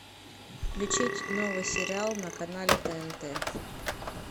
включить новый сериал на канале тнт